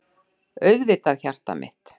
Auðvitað, hjartað mitt